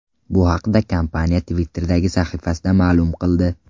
Bu haqda Kompaniya Twitter’dagi sahifasida ma’lum qildi .